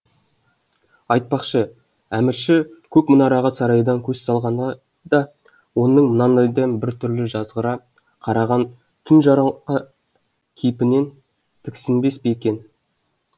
айтпақшы әмірші көк мұнараға сарайдан көз салғанда оның мынандай бір түрлі жазғыра қараған тұнжыраңқы кейпінен тіксінбес пе екен